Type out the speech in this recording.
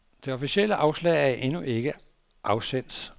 Det officielle afslag er endnu ikke af sendt.